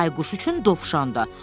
Bayquş üçün Dovşandı.